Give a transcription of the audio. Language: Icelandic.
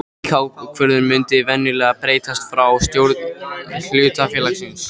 Slík ákvörðun mundi venjulega berast frá stjórn hlutafélagsins.